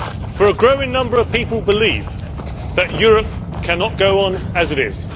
For a growing number of people believe that Europe cannot go on as it is.